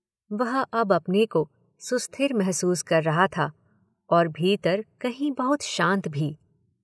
वह अब अपने को सुस्थिर महसूस कर रहा था, और भीतर कहीं बहुत शांत भी।